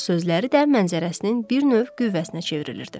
Elə sözləri də mənzərəsinin bir növ qüvvəsinə çevrilirdi.